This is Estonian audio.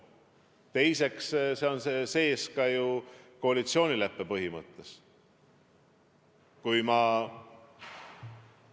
Teiseks, see on ju koalitsioonileppes põhimõttena kirjas.